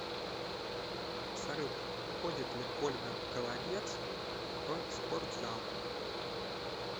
салют ходит ли ольга голодец в спортзал